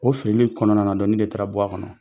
o filili in kɔnɔna na nin de taara bɔ a kɔnɔ.